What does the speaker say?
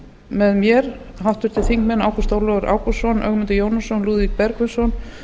með mér háttvirtir þingmenn ágúst ólafur ágústsson ögmundur jónasson lúðvík bergvinsson